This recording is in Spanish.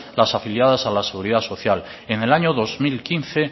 las afiliadas a la seguridad social en el año dos mil quince